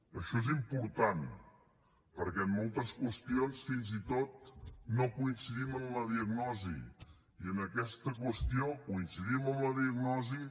això és important perquè en moltes qüestions fins i tot no coincidim en la diagnosi i en aquesta qüestió coincidim en la diagnosi